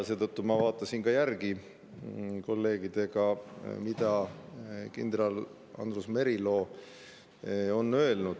Seetõttu ma vaatasin kolleegidega järele, mida kindral Andrus Merilo on öelnud.